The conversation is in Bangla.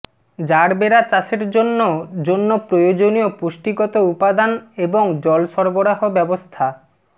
জারবেরা চাষের জন্য জন্য প্রয়োজনীয় পুষ্টিগত উপাদান এবং জল সরবরাহ ব্যবস্থা